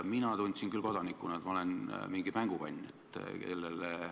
Mina tundsin küll kodanikuna, et ma olen mingisugune mängukann.